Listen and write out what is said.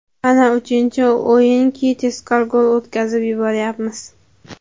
Mana uchinchi o‘yinki tezkor gol o‘tkazib yuboryapmiz.